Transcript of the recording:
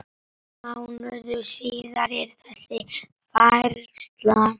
Mánuði síðar er þessi færsla